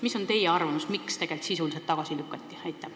Mis on teie arvamus, miks tegelikult see eelnõu tagasi lükati?